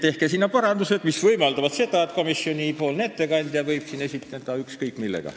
Tehke seal parandused, mis võimaldavad seda, et komisjoni ettekandja võib siin esineda ükskõik millega.